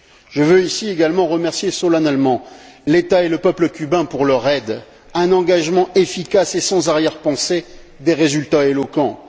Je veux ici également remercier solennellement l'État et le peuple cubains pour leur aide un engagement efficace et sans arrière pensée, des résultats éloquents.